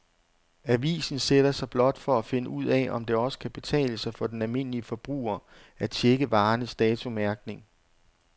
Avisen sætter sig blot for at finde ud af, om det også kan betale sig for den almindelige forbruger at checke varernes datomærkning.